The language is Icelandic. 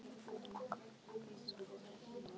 Kom inn, heyrðist sagt fyrir innan.